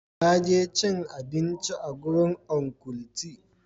Na je cin abinci a gurin Uncle tee.